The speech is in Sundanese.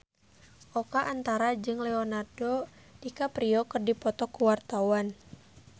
Oka Antara jeung Leonardo DiCaprio keur dipoto ku wartawan